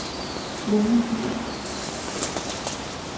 Lone Dyhr